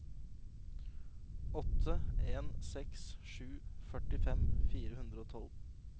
åtte en seks sju førtifem fire hundre og tolv